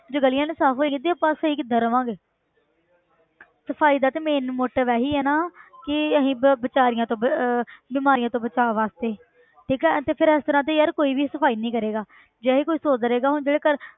ਜੇ ਗਲੀਆਂ ਨੀ ਸਾਫ਼ ਹੋਏਗੀ ਤੇ ਆਪਾਂ ਸਹੀ ਕਿੱਦਾਂ ਰਹਾਂਗੇ ਸਫ਼ਾਈ ਦਾ ਤੇ main motive ਇਹ ਹੀ ਹੈ ਨਾ ਕਿ ਅਸੀਂ ਬ~ ਬੇਚਾਰੀਆਂ ਤੋਂ ਬ~ ਅਹ ਬਿਮਾਰੀਆਂ ਤੋਂ ਬਚਾਅ ਵਾਸਤੇ ਠੀਕ ਹੈ ਤੇ ਫਿਰ ਇਸ ਤਰ੍ਹਾਂ ਤੇ ਯਾਰ ਕੋਈ ਵੀ ਸਫ਼ਾਈ ਨਹੀਂ ਕਰੇਗਾ ਜੇ ਇਹੀ ਕੁਛ ਸੋਚਦਾ ਰਹੇਗਾ ਹੁਣ ਜਿਹੜੇ ਕਰ